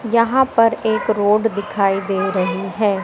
यहां पर एक रोड दिखाई दे रही है।